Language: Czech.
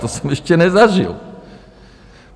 To jsem ještě nezažil.